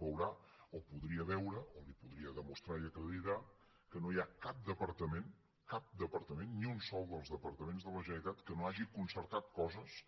veurà o podria veure ho o li ho podria demostrar i acreditar que no hi ha cap departament cap departament ni un sol dels departaments de la generalitat que no hagi concertat coses